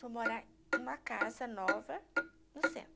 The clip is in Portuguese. Vou morar em uma casa nova no centro.